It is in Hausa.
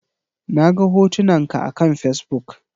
Naga hotunan ka akan Fesbuk